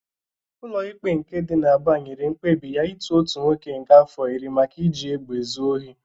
Ụlọ ikpe nke dị n'Aba nyere mkpebi ya ịtụ otu nwoke nga afọ iri maka iji egbe ezu ohi.